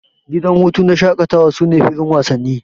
Gidan hutu na shakatawa sune filin wasanni.